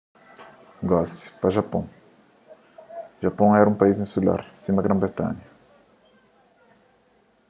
gosi pa japon japon éra un país insular sima gran-britanha